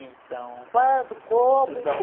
Então...uando, como, por...reciso dar um...